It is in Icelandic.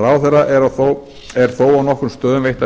ráðherra eru þó á nokkrum stöðum veittar